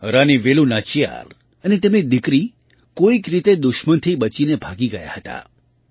રાની વેલુ નાચિયાર અને તેમની દીકરી કોઈક રીતે દુશ્મનથી બચીને ભાગી ગયાં હતાં